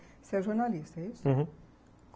Você é jornalista, é isso? uhum.